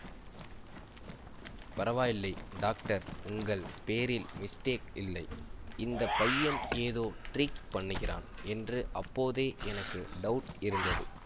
பரவாயில்லை டாக்டர் உங்கள் பேரில் மிஸ்டேக் இல்லை இந்த பையன் ஏதோ ட்ரிக் பண்ணுகிறான் என்று அப்போதே எனக்கு டவுட் இருந்தது